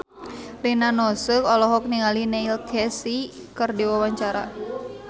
Rina Nose olohok ningali Neil Casey keur diwawancara